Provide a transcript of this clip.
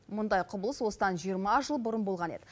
мұндай құбылыс осыдан жиырма жыл бұрын болған еді